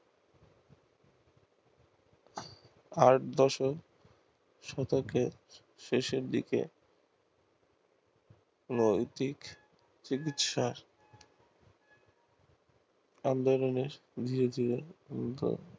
শতকে শেষের দিকে নৈতিক চিকিৎসার আন্দোলনে ধীরে ধীরে